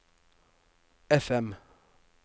FM